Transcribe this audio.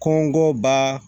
Kɔngɔ ba